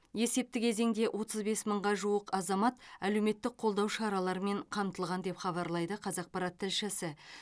есепті кезеңде отыз бес мыңға жуық азамат әлеуметтік қолдау шараларымен қамтылған деп хабарлайды қазақпарат тілшісі